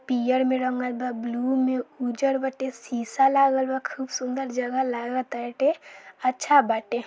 पीयर में रंगल बा ब्लू में उजर बाटे शीशा लागल बा खूब सुन्दर जगह लागा ताटे अच्छा बाटे।